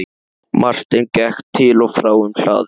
Marteinn gekk til og frá um hlaðið.